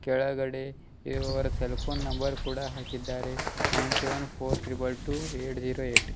ಕೆಳಗಡೆ ಇವರ cell phone number ಕೂಡ ಹಾಕಿದ್ದಾರೆ nine seven four triple two eight zero eight .